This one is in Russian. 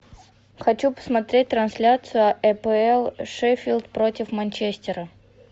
хочу посмотреть трансляцию апл шеффилд против манчестера